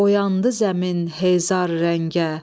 Oyandı zəmin hezar rəngə,